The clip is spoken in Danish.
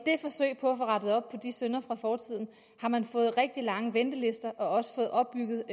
få rettet op på de synder fra fortiden har man fået rigtig lange ventelister og også fået opbygget